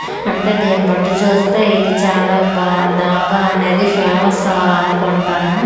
అంట దీనిబట్టి చూస్తే ఇది చాలా బా డాబా అనేది ఫేమస్సా ఆనుకుంటాను .]